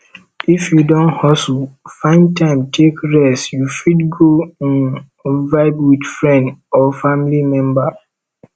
if you don hustle find time take rest you fit go um vibe with friend or family member